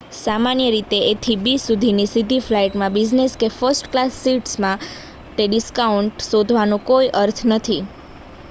સામાન્ય રીતે એ થી બી સુધીની સીધી ફ્લાઇટમાં બિઝનેસ કે ફર્સ્ટ ક્લાસ સીટસ માટે ડિસ્કાઉન્ટ શોધવાનો કોઈ અર્થ નથી